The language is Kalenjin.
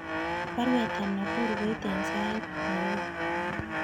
Baruet ab nakuru koite en sait nairobi